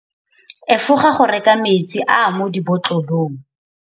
Efoga go reka metsi a a mo dibotlolong.